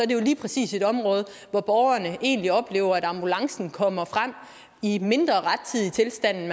jo lige præcis et område hvor borgerne egentlig oplever at ambulancen kommer frem i mindre rettidig tilstand end